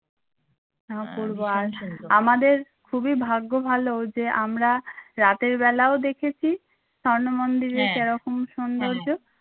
অপূর্ব আমাদের খুবই ভাগ্য ভালো যে আমরা রাতের বেলাও দেখেছি স্বর্ণ মন্দিরে যে রকম সৌন্দর্য